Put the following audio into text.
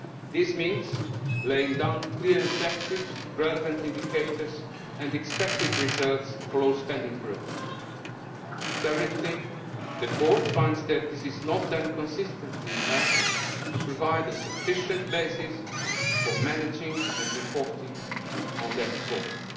This means laying down clear objectives, relevant indicators and expected results for all spending programmes. Currently, the Court finds that this is not done consistently enough to provide a sufficient basis for managing and reporting on their performance.